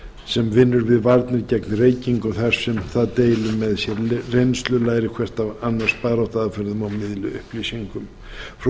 sem vinnur við varnir gegn reykingum þar sem það deili með sér reynslu læri hvert af annars baráttuaðferðum og miðli upplýsingum frú